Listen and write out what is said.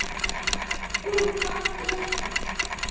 Og hvað er það?